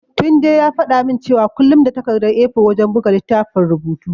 Tunde ya faɗa min cewa kullum da takardar A4 wajen buga littafin rubutu.